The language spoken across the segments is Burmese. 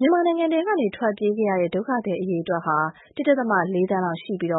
မြန်မာနိုင်ငံထဲကနေ ထွက်ပြေးခဲ့ရတဲ့ ဒုက္ခသည်အရေအတွက်ဟာ ၁.၄ သန်းလောက်ရှိပြီး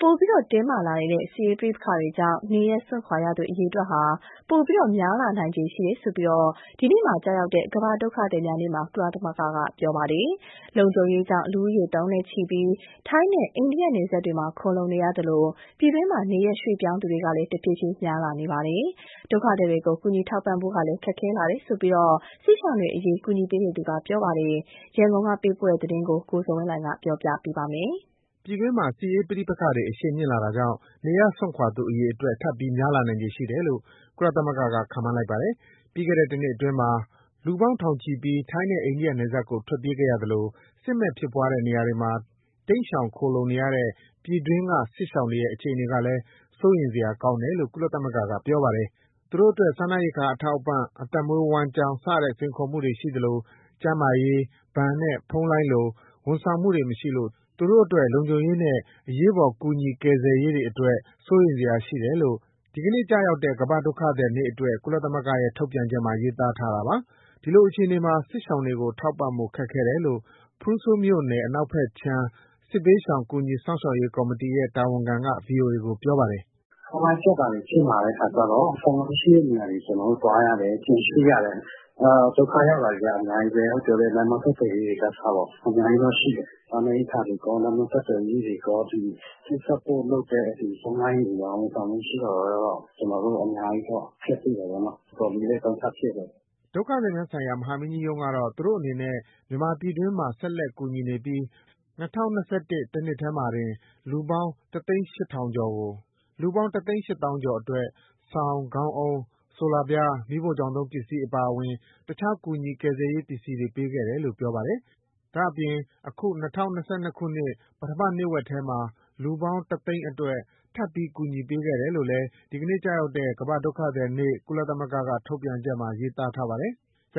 ပိုပြီးတင်းမာလာနေတဲ့ စစ်ရေးပဋိပက္ခတွေကြောင့် နေရပ်စွန့်ခွာသူ အရေအတွက်ဟာ လာမယ့်ကာလမှာ ပိုပြီးများလာနိုင်ခြေရှိတယ်လို့ ဒီနေ့ ဇွန်လ ၂၀ ရက်မှာကျရောက်တဲ့ ကမ္ဘာ့ဒုက္ခသည်များနေ့မှာ ကုလသမဂ္ဂက ကပြောလိုက်ပါတယ်။ လုံခြုံရေးကြောင့် လူဦးရေသောင်းနဲ့ချီပြီး ထိုင်းနဲ့ အိန္ဒိယနယ်စပ်မှာ ခိုလှုံနေရသလို ပြည်တွင်း နေရပ်ရွှေ့ပြောင်းသူတွေကလည်း တဖြည်းဖြည်းများလာပါတယ်။ ဒုက္ခသည်တွေကို ကူညီထောက်ပံ့ဖို့က ခက်ခဲလာတယ်လို့ စစ်ရှောင်အရေး ကူညီသူတွေက ပြောပါတယ်။ ရန်ကုန်ကပေးပို့တဲ့ဒီသတင်းကို ကိုဇော်ဝင်းလှိုင်က တင်ပြပေးထားပါတယ်။ ပြည်တွင်းမှာ စစ်ရေးပဋိပက္ခတွေ အရှိန်မြင့်လာတာကြောင့် နေရပ်စွန့်ခွာသူ အရေအတွက် ထပ်ပြီးများလာနိုင်ခြေရှိတယ်လို့ ကုလသမဂ္ဂက ခန့်မှန်းလိုက်ပါတယ်။ ပြီးခဲ့တဲ့ တနှစ်အတွင်းမှာ လူပေါင်းထောင်ချီပြီး ထိုင်းနဲ့ အိန္ဒိယနယ်စပ်ကို ထွက်ပြေးခဲ့ရသလို စစ်မက်ဖြစ်ပွားတဲ့ နေရာတွေမှာ တိမ်းရှောင်ခိုလှုံနေရတဲ့ ပြည်တွင်းက စစ်ရှောင်တွေရဲ့ အခြေအနေကလည်း စိုးရိမ်စရာကောင်းတယ်လို့ ကုလသမဂ္ဂက ပြောပါတယ်။ သူတို့အတွက် စားနပ်ရိက္ခာအထောက်အပံ့၊ အသက်မွေးဝမ်းကျောင်း စတဲ့ စိန်ခေါ်မှုတွေရှိသလို ကျန်းမာရေး၊ ဘဏ်နဲ့ ဖုန်းလိုင်းလို ဝန်ဆောင်မှုတွေမရှိလို့ သူတို့ အတွက် လုံခြုံရေးနဲ့ အရေးပေါ်ကူညီ ကယ်ဆယ်ရေးတွေအတွက် စိုးရိမ်စရာရှိတယ်လို့ ဒီနေ့ကျရောက်တဲ့ ကမ္ဘာ့ဒုက္ခသည်နေ့အတွက် ကုလသမဂ္ဂရဲ့ ထုတ်ပြန် ချက်မှာ ရေးသားထားတာပါ။ ဒီလိုအခြေအနေမှာ စစ်ရှောင်တွေကိုထောက်ပံ့ဖို့ ခက်ခဲတယ်လို့ ဖရူဆိုမြို့နယ် အနောက်ဘက်ခြမ်း စစ်ဘေးရှောင် ကူညီစောင့်ရှောက်ရေးကော်မတီရဲ့ တာဝန်ခံက ဗွီအိုအေကို ပြောပါတယ်။ "ဖုန်းလိုင်းပြတ်တာတွေ ဖြစ်လာတဲ့အခါကျတော့ ဖုန်းလိုင်းရှိတဲ့နေရာတွေ ကျနော် တို့သွားရတယ်၊ ပြန်ရွှေ့ရတယ်။ ဒုက္ခရောက်တောတွေက အများကြီးပဲ။ လမ်းပမ်းဆက်သွယ်ရေးတွေက အစပေါ့ အများကြီးရှိတယ်။ စားနပ်ရိက္ခာတွေ၊ ကုန်းလမ်းဆက်သွယ်ရေးတွေ ချိတ်ဆက်ဖို့လုပ်တဲ့ ဖုန်းလိုင်းတွေရော ဝန်ဆောင်မှုမရှိတာတော့ ကျနော်တို့အများကြီး အခက်တွေ့တယ်ပေါ့နော်။ တော်တော်လေးလည်း ဒုက္ခဖြစ်တယ်။" ကုလဒုက္ခသည်များဆိုင်ရာ မဟာမင်းကြီးရုံးကတော့ သူတို့အနေနဲ့ မြန်မာပြည်တွင်း မှာ ဆက်လက်ကူညီနေပြီး ၂၀၂၁ တနှစ်တည်းမှာတင် လူပေါင်း ၁၈၀,၀၀၀ ကျော်အတွက် စောင်၊ ခေါင်းအုံး၊ ဆိုလာပြား၊ မီးဖိုချောင်သုံးပစ္စည်း အပါအဝင် အခြား ကူညီကယ်ဆယ်ရေး ပစ္စည်းတွေပေးခဲ့တယ်လို့ ပြောပါတယ်။ ပြီးတော့ အခု ၂၀၂၂ ပထမနှစ်ဝက်ထဲမှာ လူပေါင်း ၁၀၀,၀၀၀ အတွက် ထပ်ပြီးကူညီပေးခဲ့တယ်လို့ ဒီနေ့ကျရောက်တဲ့ ကမ္ဘာ့ဒုက္ခသည်နေ့အတွက် ကုလထုတ်ပြန်ချက်မှာ ရေးသားထားတာပါ။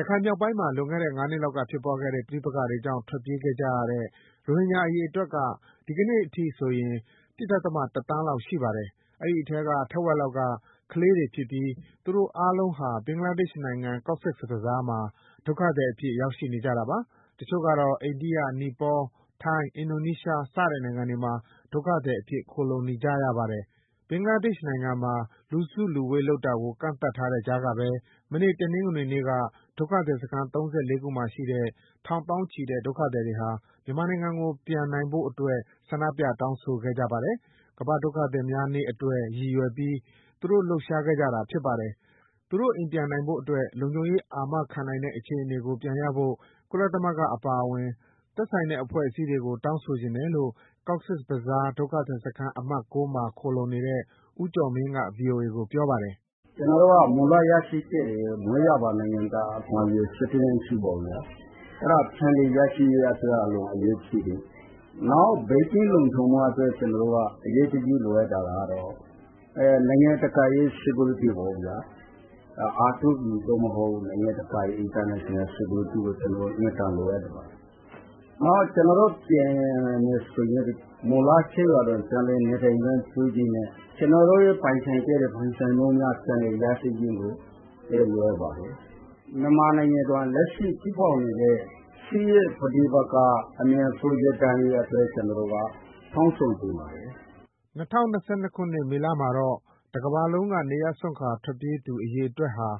ရခိုင်မြောက်ပိုင်းမှာ လွန်ခဲ့တဲ့ငါးနှစ်လောက်က ဖြစ်ပွားခဲ့တဲ့ ပဋိပက္ခကြောင့် ထွက်ပြေးခဲ့ရတဲ့ ရိုဟင်ဂျာအရေအတွက်က ဒီနေ့အထိဆိုရင် ၁.၁ သန်းလောက်ရှိပါတယ်။ ဒီအထဲက တဝက်လောက်က ကလေးတွေဖြစ်ပြီး သူတို့အားလုံးက ဘင်္ဂလားဒေ့ရှ်နိုင်ငံ၊ Cox's Bazar မှာ ဒုက္ခသည်အဖြစ် ရောက်ရှိနေကြတာပါ။ တချို့ ကတော့ အိန္ဒိယ၊ နီပေါ၊ ထိုင်း၊ အင်ဒိုနီးရှား စတဲ့နိုင်ငံတွေမှာ ဒုက္ခသည်အဖြစ် ခိုလှုံနေရပါတယ်။ ဘင်္ဂလားဒေ့ရှ်နိုင်ငံမှာ လူစုလူဝေးလုပ်တာကို ကန့်သတ်ထားတဲ့ကြားကပဲ မနေ့က တနင်္ဂနွေနေ့က ဒုက္ခသည်စခန်း ၃၄ ခုမှာရှိတဲ့ ထောင်သောင်းချီတဲ့ ဒုက္ခသည်တွေဟာ မြန်မာနိုင်ငံကို ပြန်နိုင်ဖို့အတွက် ဆန္ဒပြတောင်းဆိုခဲ့ပါတယ်။ ကမ္ဘာ့ဒုက္ခသည် များနေ့အတွက် ရည်ရွယ်ပြီး သူတို့လှုပ်ရှားခဲ့ကြတာဖြစ်ပါတယ်။ သူတို့အိမ်ပြန်နိုင် ဖို့အတွက် လုံခြုံရေးအာမခံနိုင်တဲ့ အခြေအနေကိုပြန်ရဖို့ ကုလအပါအဝင် သက်ဆိုင် တဲ့အဖွဲ့တွေကို တောင်းဆိုချင်တယ်လို့ Cox's Bazar ဒုက္ခသည်စခန်း အမှတ် (၉) မှ ာခိုလှုံနေတဲ့ ဦးကျော်မင်းက ဗွီအိုအေကို ပြောပါတယ်။ "ကျနော်တို့က မူလရရှိခဲ့တဲ့ မွေးရာပါနိုင်ငံသားအခွင့်အရေး အဲဒါပြန်လည်ရရှိရေးက အလွန်အရေးကြီးပါတယ်။ နောက်ဘေးကင်းလုံခြုံဖို့အတွက်က ကျနော်တို့ အရေးတကြီးလိုအပ်တာကတော့ နိုင်ငံတကာရဲ့ security ပေါ့ဗျာ R2P သို့မဟုတ် နိုင်ငံတကာလုံခြုံရေးကို ကျနော်တို့အင်မတန် လိုအပ်ပါတယ်။ ကျနော်တို့ပြန်မယ်ဆိုရင် မူလကျေးရွာတွင် ပြန်လည်နေထိုင်ခွင့်ပြုချင်တယ်။ ကျနော်တို့ပိုင်ဆိုင်ခဲ့တဲ့ ပိုင်ဆိုင်မှုများ ပြန်လည်ရရှိရေး လိုအပ်ပါတယ်။ မြန်မာနိုင်ငံမှာ လက်ရှိဖြစ်ပေါ်နေတဲ့ စစ်ရေးပဋိပက္ခ အမြန်ဆုံးရပ်တန့်ရေးအတွက် ကျနော်တို့က တောင်းဆိုချင်ပါတယ်။" ၂၀၂၂ မေလ မှာတော့ တကမ္ဘာလုံးက နေရပ်စွန့်ခွာထွက်ပြေးနေရသူ အရေအတွက်ဟာ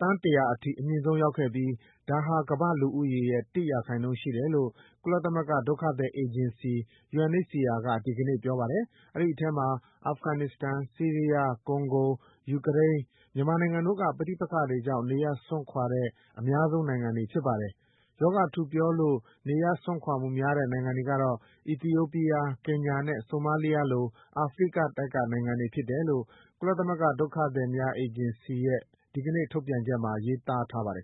သန်း ၁၀၀ အထိ အမြင့်ဆုံးရောက်ခဲ့ပြီး ဒါဟာ ကမ္ဘာ့လူဦးရေရဲ့ ၁ ရာခိုင်နှုန်းရှိတယ်လို့ ကုလသမဂ္ဂ ဒုက္ခသည်အေဂျင်စီ UNHCR က ဒီနေ့တနင်္လာနေ့မှာ ပြောပါတယ်။ အဲဒီအထဲမှာ အာဖဂန်နစ္စတန်၊ ဆီးရီးယား၊ ကွန်ဂို၊ ယူကရိန်း၊ မြန်မာနိုင်ငံတို့ဟာ ပဋိပက္ခတွေကြောင့် နေရပ်စွန့်ခွာတဲ့ အများဆုံးနိုင်ငံတွေဖြစ်ပါတယ်။ ရောဂါထူပြောလို့ နေရပ်စွန်ခွာမှုများတဲ့ နိုင်ငံတွေကတော့ အီသီယိုးပီးယား၊ ကင်ညာနဲ့ ဆိုမာလီးယားလို အာဖရိကတိုက်က နိုင်ငံတွေဖြစ်တယ်လို့ ကုလသမဂ္ဂ ဒုက္ခသည်အေဂျင်စီရဲ့ ဒီနေ့ထုတ်ပြန်ချက်မှာ ရေးသားထားပါတယ်